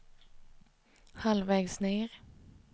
halvvägs ned